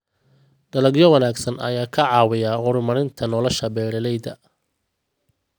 Dalagyo wanaagsan ayaa ka caawiya horumarinta nolosha beeralayda.